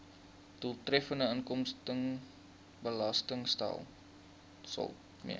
doeltreffende inkomstebelastingstelsel mee